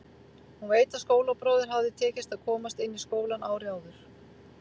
Hún veit að skólabróður hafði tekist að komast inn í skólann árið áður.